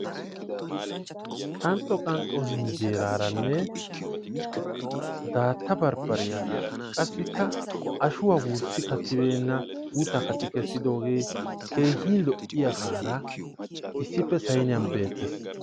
Qanxxo qanxxo injjeeraaranne daatta bardbariyaara qassikka ashuwaa wurssi kattibeenna guutta katti kesiigidogee keehi lo'iyagaara issippe sayniyan beettes